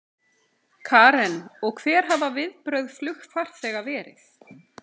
Karen: Og hver hafa viðbrögð flugfarþega verið?